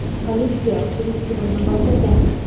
Politsiya surishtiruvni boshlagan.